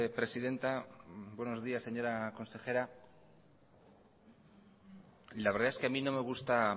presidenta buenos días señora consejera la verdad es que a mí no me gusta